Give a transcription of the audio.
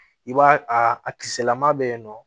I b'a a kisɛlama bɛ yen nɔ